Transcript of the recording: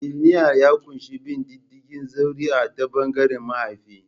Bailinial ya ƙunshi bin diddigin zuri'a ta ɓangaren mahaifa.